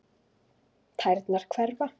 Tærnar hverfa.